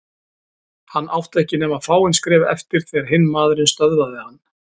Hann átti ekki nema fáein skref eftir þegar hinn maðurinn stöðvaði hann.